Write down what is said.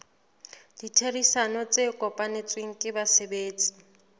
ditherisano tse kopanetsweng ke basebetsi